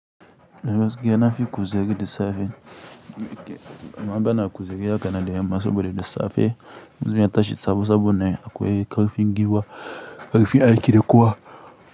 Yanafi kuzari de safe, ma bana kuzari ha kana yamma saboda d safe, in na tashi sabo sabone akwai karifin giwa, karifin aiki da kowa.